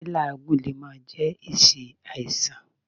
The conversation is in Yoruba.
Lí́làágùn lè má jẹ́ èsì àìsàn.